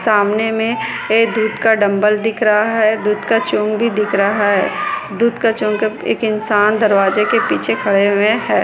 सामने मे ए दूध का डंबल दिख रहा है दूध का चोंग भी दिख रहा है दूध का चोंग का एक इंसान दरवाजे के पीछे खड़े हुए है।